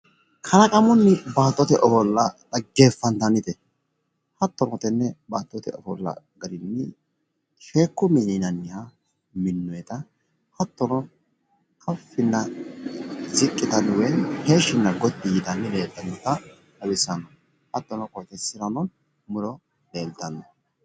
Kalaqamunni baattote ofolla dhaggefantannite hattono gotima, lagite, eafulicho baattote ofolla gadeeti